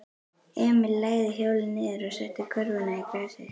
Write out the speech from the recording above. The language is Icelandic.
Emil lagði hjólið niður og setti körfuna í grasið.